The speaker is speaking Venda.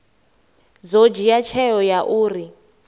ḓo dzhia tsheo ya uri